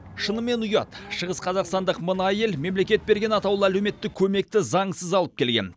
шынымен ұят шығыс қазақстандық мына әйел мемлекет берген атаулы әлеуметтік көмекті заңсыз алып келген